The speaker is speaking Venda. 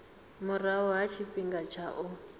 murahu ha tshifhinga tsha u